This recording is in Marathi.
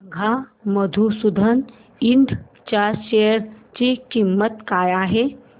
सांगा मधुसूदन इंड च्या शेअर ची किंमत काय आहे